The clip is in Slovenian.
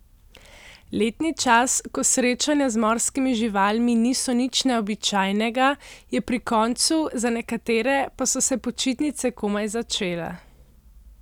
Letni čas, ko srečanja z morskimi živalmi niso nič neobičajnega, je pri koncu, za nekatere pa so se počitnice komaj začele.